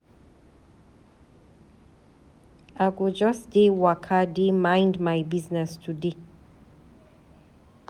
I go just dey waka dey mind my business today.